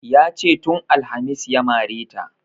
Yace tun alhamis ya mare ta